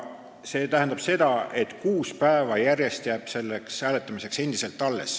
See tähendab, et kuus päeva järjest on selleks hääletamiseks aega.